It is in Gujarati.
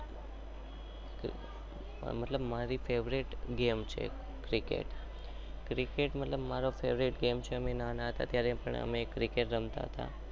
મતલબ મારી ફાવ્રિત ગમે છે અમે ના ના હતા તો બી